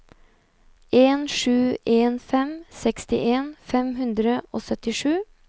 en sju en fem sekstien fem hundre og syttisju